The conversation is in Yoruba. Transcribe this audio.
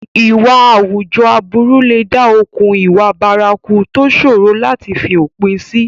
Ìwà àwùjọ aburú lè dá okùn ìwà bárakú tó ṣòro láti fi òpin sí.